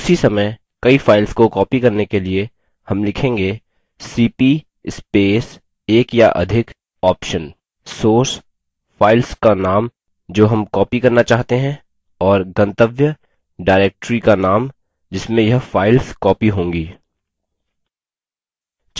उसी समय कई files को copy करने के लिए हम लिखेंगेcp space एक या अधिक option source files का नाम जो हम copy करना चाहते हैं और गंतव्य directory का नाम जिसमें यह files copy होंगी